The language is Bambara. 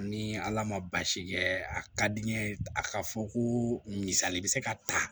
Ni ala ma baasi kɛ a ka di n ye a ka fɔ ko misali bɛ se ka ta